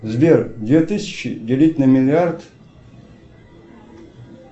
сбер две тысячи делить на миллиард